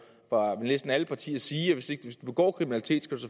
fra næsten alle partier sige at hvis du begår kriminalitet skal